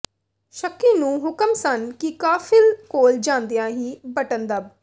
ਸ਼ੱਕੀ ਨੂੰ ਹੁਕਮ ਸਨ ਕਿ ਕਾਫ਼ਿਲ ਕੋਲ ਜਾਂਦਿਆਂ ਹੀ ਬਟਨ ਦੱਬ